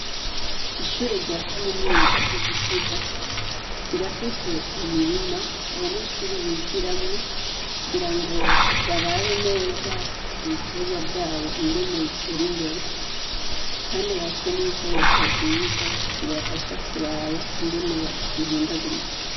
Ishure ryakaminuza ryigitega rirafise imirima abanyeshure bigiramwo kugira ngo barabe neza ibiterwa vyabo ingene bitera imbere kandi barafise nibikoresho vyiza bibafasha kuraba ingene bihindagurika